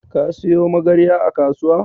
Ka siyo Magarya a kasuwar?